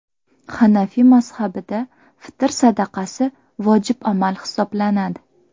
Hanafiy mazhabida fitr sadaqasi vojib amal hisoblanadi .